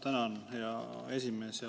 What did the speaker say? Tänan, hea esimees!